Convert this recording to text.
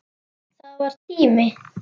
Það var tími.